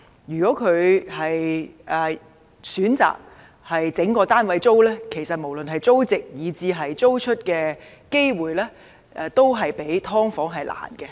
如果業主選擇將整個單位出租，無論是租值以至租出的機會，都較"劏房"為低。